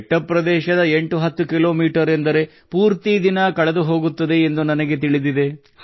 ಬೆಟ್ಟ ಪ್ರದೇಶದ 810 ಕಿ ಮೀ ಎಂದರೆ ಪೂರ್ತಿ ದಿನ ಕಳೆದುಹೋಗುತ್ತದೆ ಎಂದು ನನಗೆ ತಿಳಿದಿದೆ